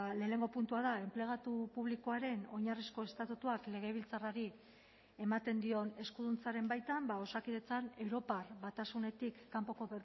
lehenengo puntua da enplegatu publikoaren oinarrizko estatutuak legebiltzarrari ematen dion eskuduntzaren baitan osakidetzan europar batasunetik kanpoko